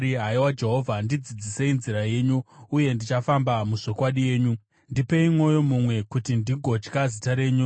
Haiwa Jehovha, ndidzidzisei nzira yenyu, uye ndichafamba muzvokwadi yenyu; ndipei mwoyo mumwe, kuti ndigotya zita renyu.